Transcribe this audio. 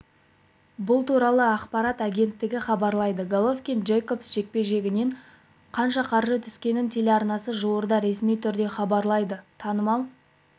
бұл туралы ақпарат агенттігі хабарлайды головкин-джейкобс жекпе-жегінен қанша қаржы түскенін телеарнасы жуырда ресми түрде хабарлайды танымал